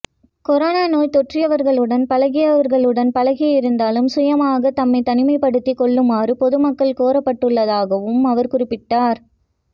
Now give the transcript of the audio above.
corona நோய் தொற்றியவர்களுடன் பழகியவர்களுடன் பழகியிருந்தாலும் சுயமாக தம்மை தனிமைப்படுத்திக் கொள்ளுமாறும் பொதுமக்கள் கோரப்பட்டுள்ளதாகவும் அவர் குறிப்பிட்டார்